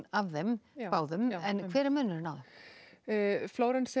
af þeim báðum hver er munurinn á þeim Flórens